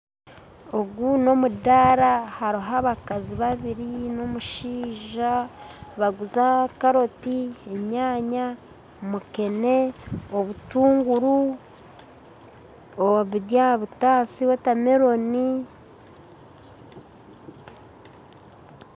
Ogu n'omundaara hariho abakazi babiri n'omushaija nibaguza karooti, enyaanya, mukeene, obutuunguru buri aha butaasa na wotameloni